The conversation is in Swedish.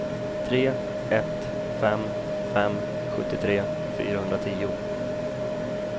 tre ett fem fem sjuttiotre fyrahundratio